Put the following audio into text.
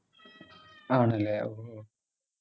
ആണല്ലോ ഓ